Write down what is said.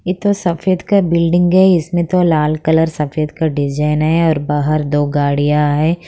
ये तो सफेद का बिल्डिंग है इसमें तो लाल कलर सफ़ेद का डिजाइन है और बाहर दो गाड़ियां हैं।